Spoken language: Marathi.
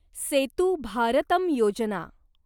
सेतू भारतम योजना